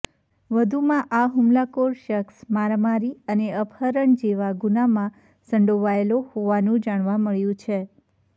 વધુમાં આ હૂમલાખોર શખ્સ મારમારી અને અપહરણ જેવા ગુનામાં સંડોવાયેલો હોવાનું જાણવા મળ્યુ છે